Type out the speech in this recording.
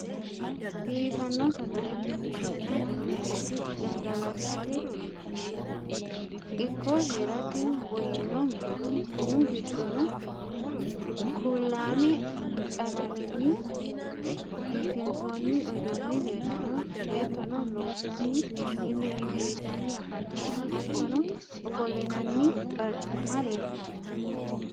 Biifanno sagaletenna bunu mineeti. Gamgalatate ikko heerate woyyino mineeti. Minu giddono kuulaame qalamenni biifinsoonni uduunni leellanno. Beettono loossanni milli milli yitanni afantanno. Hattono ofollinanni barcimma leeltanno.